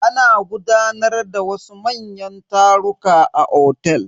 Ana gudanar da wasu manyan taruka a otel.